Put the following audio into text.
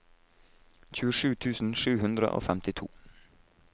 tjuesju tusen sju hundre og femtito